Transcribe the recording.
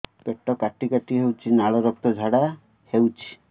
ପେଟ କାଟି କାଟି ହେଉଛି ଲାଳ ରକ୍ତ ଝାଡା ହେଉଛି